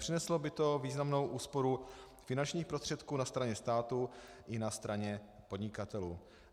Přineslo by to významnou úsporu finančních prostředků na straně státu i na straně podnikatelů.